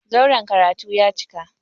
Zauren karatu ya cika.